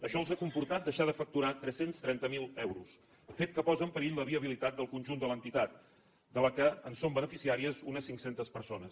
això els ha comportat deixar de facturar tres cents i trenta miler euros fet que posa en perill la viabilitat del conjunt de l’entitat de la qual són beneficiàries unes cinc centes persones